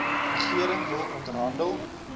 regering wil onderhandel